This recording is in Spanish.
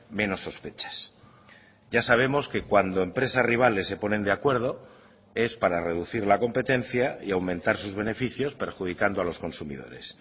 menos sospechas ya sabemos que cuando empresas rivales se ponen de acuerdo es para reducir la competencia y aumentar sus beneficios perjudicando a los consumidores